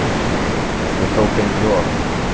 Ég tók inn Joð.